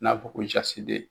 N'a fɔ ko .